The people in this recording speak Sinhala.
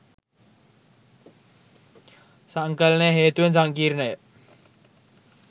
සංකලනය හේතුවෙන් සංකීර්ණය.